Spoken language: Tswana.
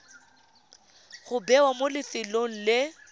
go bewa mo lefelong le